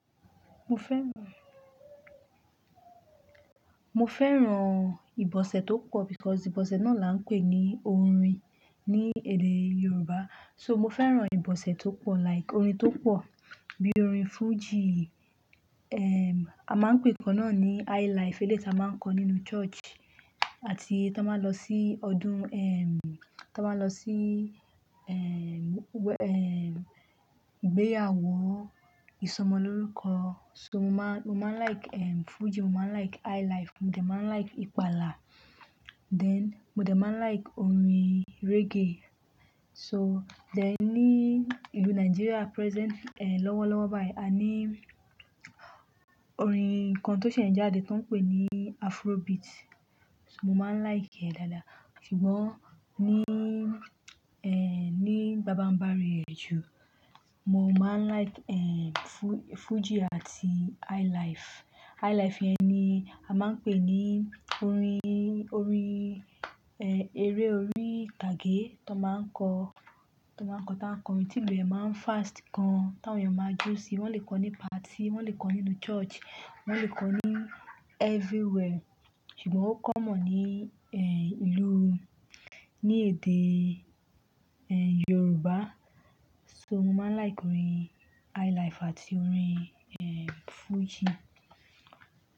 Mo fẹ́ran, mo fẹ́ran ìbọ̀sẹ̀ tó pọ̀ because ìbọ̀sẹ̀ náà là ń pè ní orin ní èdè Yorùbá. So mo fẹ́ran ìbọ̀sẹ̀ tó pọ̀ like orin tó pọ̀ bíi orin Fuji, ehm, a máa ń pè nǹkan náà ní Highlife eléyi ti a máa ń kọ nínú church àti ton ba n lọ sí ọdún, ehm, tí wọ́n máa lọ sí, ehm, wẹ-- ehm, ìgbéyàwó, ìsọmọlórúkọ. So mo máa, mo máa like, ehm, Fuji, mo máa like Highlife, mo dẹ̀ máa like ìpàlà. Then mo dẹ̀ máa like orin reggae. So then ní ìlú Nigeria present, e, lọ́wọ́lọ́wọ́ báyìí a ní orin nǹkan tó ṣẹ̀ ń jáde tóń pè ní Afrobeat. So mo máa like ẹ̀ dáadáa. Sugbọ́n ní, e, ní baba n bari e ju Mo máa like, en, Fu-Fuji àti Highlife. Highlife yẹn ni a máa ń pè ní orin, orin, en, eré orí itage tó máa ń kọ, tó máa ń kọ táa ń kọrin. Tí ìlú e máa ń fast gan táwọn èèyàn máa jó sí i. Wọ́n lè kọ ní party, wọ́n lè kọ nínú church, wọ́n lè kọ ní everywhere. Sugbọ́n ó common ní, e, ìlú, ní èdè, en, Yorùbá. So mo máa like orin Highlife àti orin, eh, Fuji.